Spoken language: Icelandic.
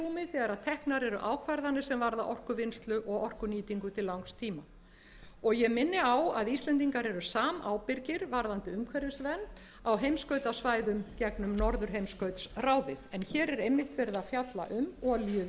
vera í fyrirrúmi þegar teknar eru ákvarðanir sem varða orkuvinnslu og orkunýtingu til langs tíma og ég minni á að íslendingar eru samábyrgir varðandi umhverfisnefnd á heimskautasvæðum gegnum norðurheimskautsráðið en hér er einmitt verið að fjalla um olíuvinnslu gasvinnslu